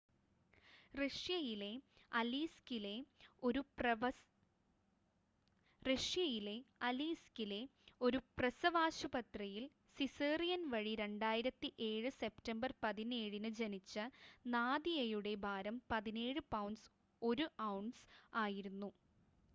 റഷ്യയിലെ അലീസ്‌കിലെ ഒരു പ്രസവാശുപത്രിയിൽ സിസേറിയൻ വഴി 2007 സെപ്റ്റംബർ 17-ന് ജനിച്ച നാദിയയുടെ ഭാരം 17 പൗണ്ട്സ് 1 ഔൺസ് ആയിരുന്നു